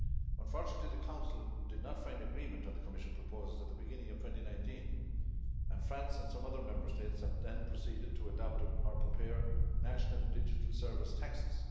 Unfortunately, the Council did not find agreement on the Commission proposals at the beginning of 2019 and France and some other Member States then proceeded to adopt or prepare national digital service taxes.